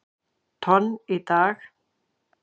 tonn í dag.